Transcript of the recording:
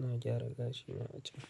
Na gyara gashina a can.